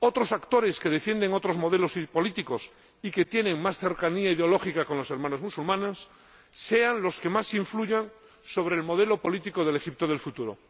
otros actores que defienden otros modelos políticos y que tienen más cercanía ideológica con los Hermanos Musulmanes sean los que más influyan sobre el modelo político del Egipto del futuro.